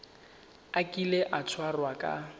a kile a tshwarwa ka